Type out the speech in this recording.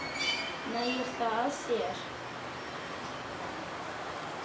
Nægir það þér?